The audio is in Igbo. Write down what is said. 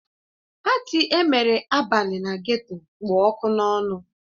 Patị emere abalị na geto kpụ ọkụ n'ọnụ